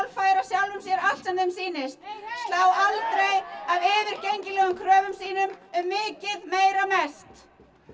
færa sjálfum sér allt sem þeim sýnist slá aldrei af yfirgengilegum kröfum sínum um mikið meira mest